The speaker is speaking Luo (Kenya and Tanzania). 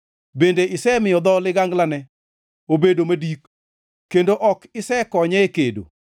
Bende isemiyo dho liganglane obedo madik kendo ok isekonye e kedo.